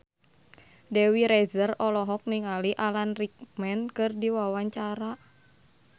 Dewi Rezer olohok ningali Alan Rickman keur diwawancara